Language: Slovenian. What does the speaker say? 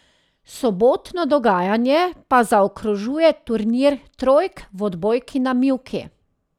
Sobotno dogajanje pa zaokrožuje turnir trojk v odbojki na mivki.